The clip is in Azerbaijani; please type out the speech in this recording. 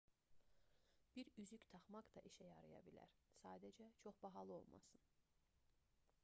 bir üzük taxmaq da işə yaraya bilər sadəcə çox bahalı olmasın